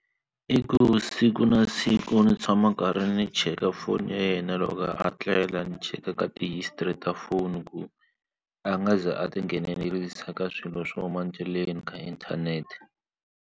I ku siku na siku ni tshama karhi ndzi cheka foni ya yena loko a tlela ni cheka ka ti-history ta phone ku a nga ze a tinghenelerisa ka swilo swo huma endleleni ka inthanete.